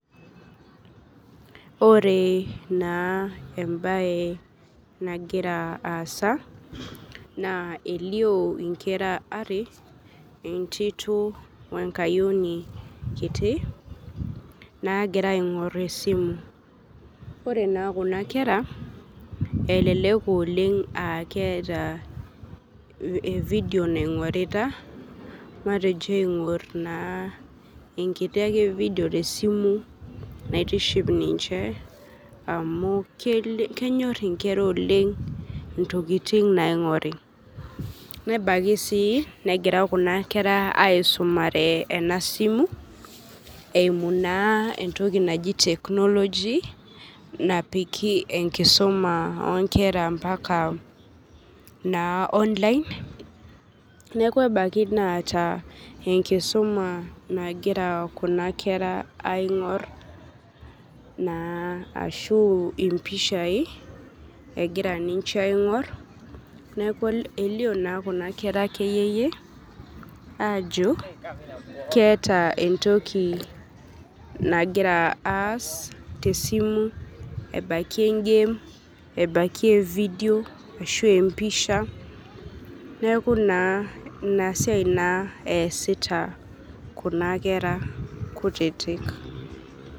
Oree naa embaye nagira aasa naa elioo inkera are, entito oenkayoni kiti naagira aing'orr esimu. Ore naa kuna kera elelek ooleng' aaketaa vidio naing'orita, matejo aing'orr naa enkiti ake vidio tesimu naitiship ninche amu kenyorr inkera oleng' intokitin naing'ori. Nebaiki sii negira kuna kera aisumare ena simu eimu naa entoki naji teknoloji napiki enkisoma oonkera mpaka naa online neaku ebaiki neeta enkisuma nagira kuna kera aing'orr naa ashuu impishai egira ninche aing'orr neaku elio naa kuna kera keyeyie aajo keeta entoki nagira aas tesimu ebaiki engem ebaki evidio ashuu empisha, neaku naa inasiai naa easita kuna kera kutitik.